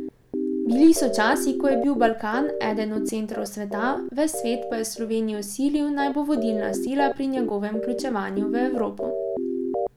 Bili so časi, ko je bil Balkan eden od centrov sveta, ves svet pa je Slovenijo silil, naj bo vodilna sila pri njegovem vključevanju v Evropo.